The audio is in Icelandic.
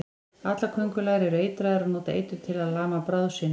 Allar köngulær eru eitraðar og nota eitur til að lama bráð sína.